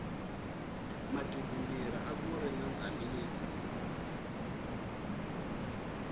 magidimbirhi a kuri na ndhambi leyi kulu